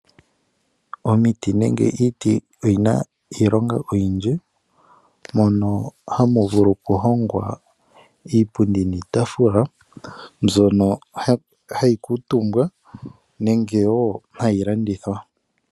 Omiti nenge iiti oyina iilonga oyindji mono hamu vulu okuhongwa iipundi niitafula mbyono hayi kuutumbwa nenge hayi landithwa .